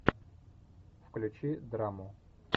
включи драму